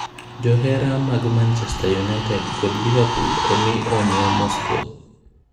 Johera mag Manchester United kod Liverpool omii onyo Mosko.